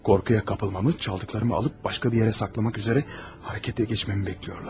Qorxuya qapılmağımı, oğurladıqlarımı alıb başqa bir yerə gizlətmək üçün hərəkətə keçməyimi gözləyirlər.